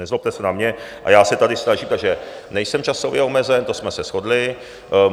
Nezlobte se na mě, a já se tady snažím, takže nejsem časově omezen, to jsme se shodli.